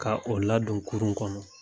Ka o ladon kurun kɔnɔ